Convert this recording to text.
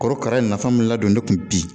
Korokara in nafa min ladon ne kun bi